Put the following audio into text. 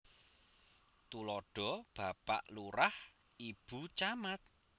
Tuladha Bapak Lurah Ibu Camat